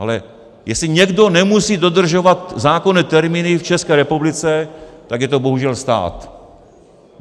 Ale jestli někdo nemusí dodržovat zákonné termíny v České republice, tak je to bohužel stát.